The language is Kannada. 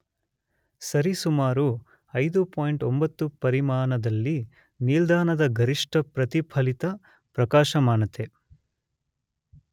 ಸರಿಸುಮಾರು 5.9 ಪರಿಮಾಣದಲ್ಲಿ ನಿಲ್ದಾಣದ ಗರಿಷ್ಠ ಪ್ರತಿಫಲಿತ ಪ್ರಕಾಶಮಾನತೆ